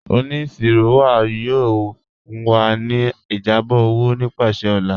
Ọniṣirọ wa yóò fún wa ni ìjábọ̀ owo nípasẹ̀ ọ̀là.